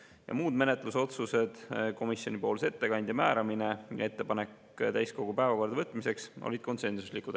Ja muud menetlusotsused, komisjoni ettekandja määramine ja ettepanek täiskogu päevakorda võtmiseks, olid konsensuslikud.